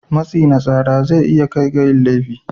Matsi na tsara zai iya kai ga yin laifi